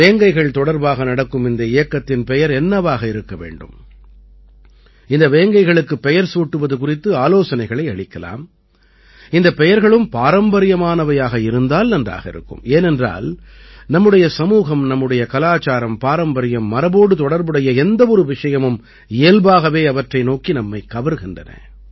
வேங்கைகள் தொடர்பாக நடக்கும் இந்த இயக்கத்தின் பெயர் என்னவாக இருக்க வேண்டும் இந்த வேங்கைகளுக்குப் பெயர் சூட்டுவது குறித்து ஆலோசனைகளை அளிக்கலாம் இந்தப் பெயர்களும் பாரம்பரியமானவையாக இருந்தால் நன்றாக இருக்கும் ஏனென்றால் நம்முடைய சமூகம் நமது கலாச்சாரம்பாரம்பரியம்மரபோடு தொடர்புடைய எந்த ஒரு விஷயமும் இயல்பாகவே அவற்றை நோக்கி நம்மைக் கவர்கின்றன